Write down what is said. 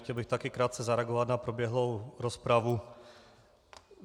Chtěl bych taky krátce zareagovat na proběhlou rozpravu.